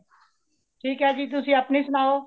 ਠੀਕ ਹੇ ਜੀ , ਤੁਸੀਂ ਅਪਣੀ ਸੁਣਾਓ।